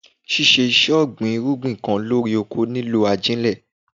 Ṣíṣe ìṣe ọ̀gbìn irúgbìn kan lórí oko ní lò ajílẹ̀.